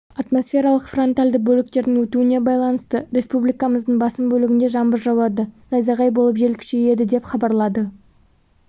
атмосфералық фронтальды бөліктердің өтуіне байланысты республикамыздың басым бөлігінде жаңбыр жауады найзағай болып жел күшейеді деп хабарлады